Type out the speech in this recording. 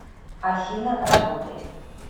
афина работает